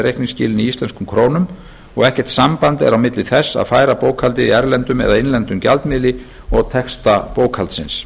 reikningsskilin í íslenskum krónum og ekkert samband er á milli þess að færa bókhaldið í erlendum eða innlendum gjaldmiðli og texta bókhaldsins